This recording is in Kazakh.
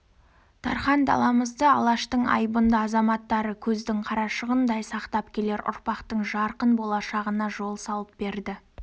дархан даламызды алаштың айбынды азаматтары көздің қарашығындай сақтап келер ұрпақтың жарқын болашағына жол салып берді